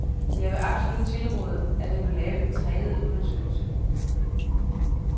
Jeg vil absolut tilråde, at der bliver lavet en tredje undersøgelse.